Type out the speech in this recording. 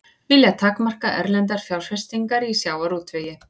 Vilja takmarka erlendar fjárfestingar í sjávarútvegi